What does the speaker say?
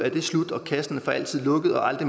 i